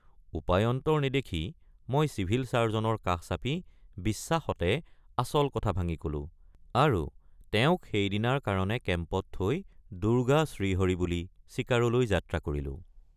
উপায়ান্তৰ নেদেখি মই চিভিল ছাৰ্জনৰ কাষ চাপি বিশ্বাসতে আচল কথা ভাঙি কলোঁ আৰু তেওঁক সেইদিনাৰ কাৰণে কেম্পত থৈ দুৰ্গা শ্ৰীহৰি বুলি চিকাৰলৈ যাত্ৰা কৰিলোঁ।